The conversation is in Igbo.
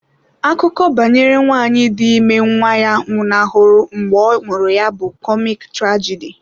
Akụkọ banyere nwanyị dị ime nwa ya nwụnahụrụ mgbe a mụrụ ya bụ kọmik trajidi.